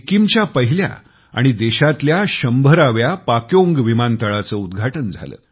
सिक्कीमच्या पहिल्या आणि देशातल्या 100व्या पाक्योंग विमानतळाचे उद्घाटन झाले